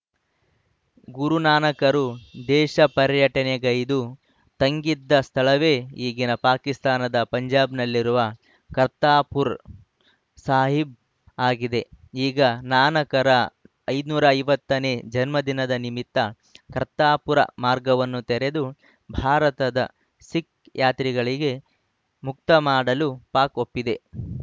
ಗುರುನಾನಕರು ದೇಶಪರ್ಯಟನೆಗೈದು ತಂಗಿದ ಸ್ಥಳವೇ ಈಗಿನ ಪಾಕಿಸ್ತಾನದ ಪಂಜಾಬ್‌ನಲ್ಲಿರುವ ಕರ್ತಾರ್‌ಪುರ ಸಾಹಿಬ್‌ ಆಗಿದೆ ಈಗ ನಾನಕರ ಐನೂರ ಐವತ್ತನೇ ಜನ್ಮದಿನದ ನಿಮಿತ್ತ ಕರ್ತಾರ್‌ಪುರ ಮಾರ್ಗವನ್ನು ತೆರೆದು ಭಾರತದ ಸಿಖ್‌ ಯಾತ್ರಿಗಳಿಗೆ ಮುಕ್ತ ಮಾಡಲು ಪಾಕ್‌ ಒಪ್ಪಿದೆ